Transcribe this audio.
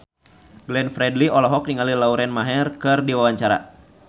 Glenn Fredly olohok ningali Lauren Maher keur diwawancara